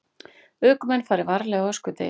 Ökumenn fari varlega á öskudegi